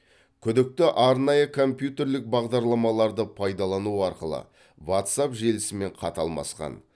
күдікті арнайы компьютерлік бағдарламаларды пайдалану арқылы ватсап желісімен хат алмасқан